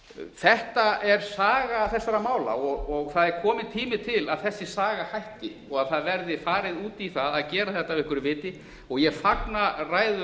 þetta er saga þessara mála og það er komin tími til að þessi saga hætti og að það verði farið út í það að gera þetta af einhverju viti og ég fagna ræðu